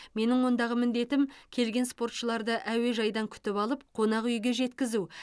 менің ондағы міндетім келген спортшыларды әуежайдан күтіп алып қонақ үйге жеткізу